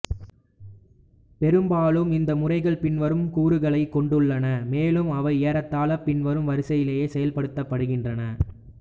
பெரும்பாலும் இந்த முறைகள் பின்வரும் கூறுகளைக் கொண்டுள்ளன மேலும் அவை ஏறத்தாழ பின்வரும் வரிசையிலேயே செயல்படுத்தப்படுகின்றன